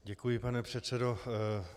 Děkuji, pane předsedo.